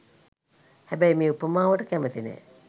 හැබැයි මේ උපමාවට කැමති නෑ.